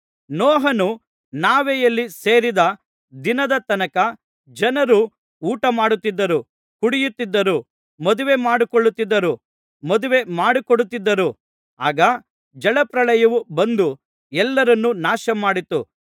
ನೋಹನು ನಾವೆಯಲ್ಲಿ ಸೇರಿದ ದಿನದ ತನಕ ಜನರು ಊಟಮಾಡುತ್ತಿದ್ದರು ಕುಡಿಯುತ್ತಿದ್ದರು ಮದುವೆಮಾಡಿಕೊಳ್ಳುತ್ತಿದ್ದರು ಮದುವೆಮಾಡಿಕೊಡುತ್ತಿದ್ದರು ಆಗ ಜಲಪ್ರಳಯವು ಬಂದು ಎಲ್ಲರನ್ನು ನಾಶಮಾಡಿತು